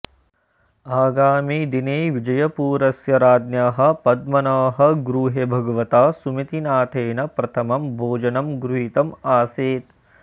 आगामिदिने विजयपुरस्य राज्ञः पद्मनः गृहे भगवता सुमतिनाथेन प्रथमं भोजनं गृहीतम् आसीत्